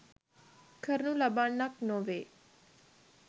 කරනු ලබන්නක් නොවේ.